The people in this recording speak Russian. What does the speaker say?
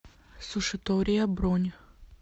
сушитория бронь